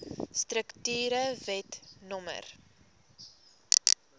strukture wet no